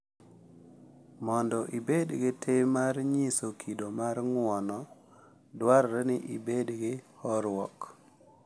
Mondo ibed gi tim mar nyiso kido mar ng’uono, dwarore ni ibed gi horuok